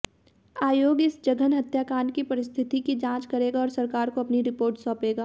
आयोग इस जघन्य हत्याकांड की परिस्थितियों की जांच करेगा और सरकार को अपनी रिपोर्ट सौंपेगा